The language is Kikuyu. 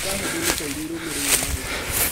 Ciĩga hũthũ nĩ ta iria irũmĩrĩre: maguta.